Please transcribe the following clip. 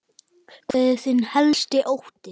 Hver er þinn helsti ótti?